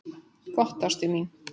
Gott, ástin mín.